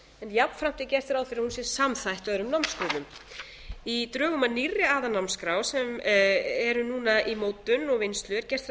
jafnframt er gert ráð fyrir að hún sé samþætt öðrum námsgreinum í drögum að nýrri aðalnámskrá sem er núna í mótun og vinnslu er gert ráð